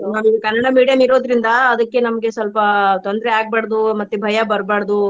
ನಾವ್ ಈಗ ಕನ್ನಡ medium ಇರೋದ್ರಿಂದ ಅದಕ್ಕೆ ನಮ್ಗೆ ಸ್ವಲ್ಪ ತೊಂದ್ರೆ ಆಗ್ಬಾರ್ದು ಮತ್ತೆ ಭಯಾ ಬರ್ಬಾರ್ದು